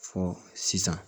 Fɔ sisan